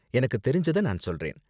எனக்கு தெரிஞ்சத நான் சொல்றேன்.